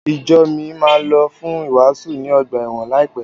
Ìjo mi máa lọ fún ìwàásù ní ọgbà ẹ̀wọ̀n láìpẹ́.